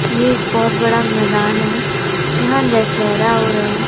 ये एक बहोत बड़ा मैदान है यहां दशहरा हो रहा--